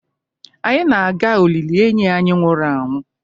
Anyị na-aga olili enyi anyị nwụrụ anwụ